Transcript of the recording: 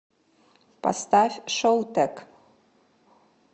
поставь шоутек